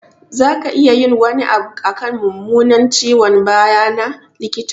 Za ka iya yin wani abu akan mummunan ciwon baya na, likita?